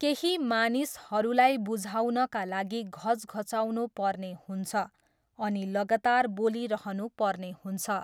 केही मानिसहरूलाई बुझाउनका लागि घचघच्याउनु पर्ने हुन्छ अनि लगातार बोलिरहनु पर्ने हुन्छ।